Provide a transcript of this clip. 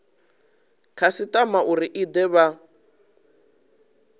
khasitama uri i de vha